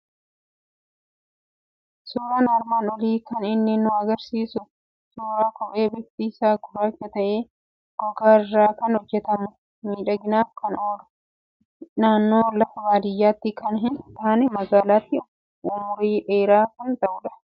Suuraan armaan olii kan inni nu argisiisu suuraa kophee bifti isaa gurraacha ta'e, gogaa irraa kan hojjetamu, miidhaginaaf kan ta'u, naannoo lafa baadiyyaatti kan hin taane, magaalaatti umurii dheeraa kan ta'udha.